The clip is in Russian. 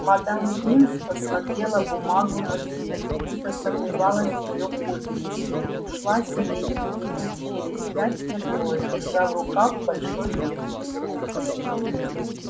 мадам пинс посмотрела бумагу на свет будто сомневалась в её подлинности ушла с ней и минут через пять вернулась держа в руках большой ветхий том